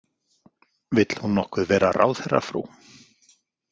Vill hún nokkuð vera ráðherrafrú?